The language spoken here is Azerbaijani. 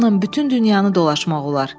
Onunla bütün dünyanı dolaşmaq olar.